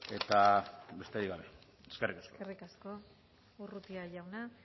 eta besterik gabe eskerrik asko eskerrik asko urrutia jauna